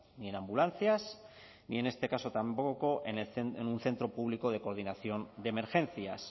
ni en ambulancias ni en este caso tampoco en un centro público de coordinación de emergencias